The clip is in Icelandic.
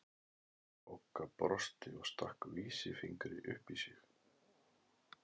Bogga brosti og stakk vísifingri upp í sig.